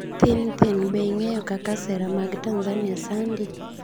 Thin thin:Be ing'eyo kaka sera mag Tanzania sandi?